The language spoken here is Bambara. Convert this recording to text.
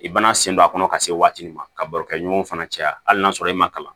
I bɛna sen don a kɔnɔ ka se waati min ma ka barokɛɲɔgɔn fana caya hali n'a sɔrɔ i ma kalan